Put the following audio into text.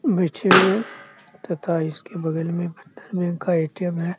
बैठे हुए तथा इसके बगल में बंधन बैंक का ए.टी.एम. है।